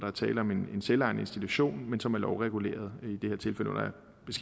er tale om en selvejende institution men som er lovreguleret